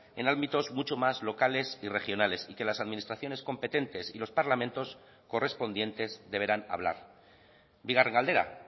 en ámbitos mucho más locales y regionales y que las administraciones competentes y los parlamentos correspondientes deberán hablar bigarren galdera